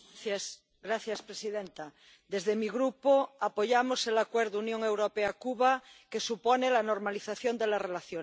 Señora presidenta, desde mi Grupo apoyamos el Acuerdo Unión Europea Cuba que supone la normalización de las relaciones.